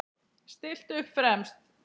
Stillt upp fremst.